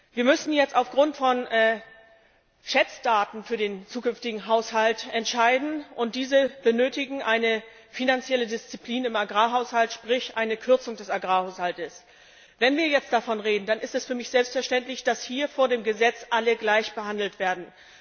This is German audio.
Wir müssen jetzt aufgrund von Schätzdaten für den zukünftigen Haushalt entscheiden, und dafür bedarf es einer finanziellen Disziplin im Agrarhaushalt, sprich einer Kürzung des Agrarhaushaltes. Wenn wir jetzt davon reden, dann ist es für mich selbstverständlich, dass hier vor dem Gesetz alle gleichbehandelt werden.